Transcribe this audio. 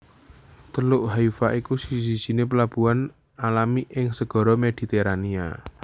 Teluk Haifa iku siji sijiné plabuhan alami ing Segara Mediterania